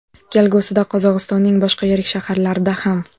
Kelgusida Qozog‘istonning boshqa yirik shaharlarida ham.